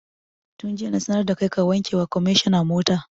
Tun jiya na sanar da kai ka wanke wa kwamishina mota!